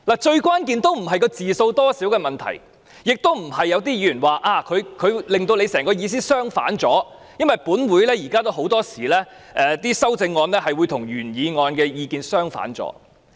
最關鍵的也並非字數多少的問題，亦非如有些議員所指她的修正案令我的原議案意思相反，因為本會很多時候也會出現修正案會與原議案意見相反的情況。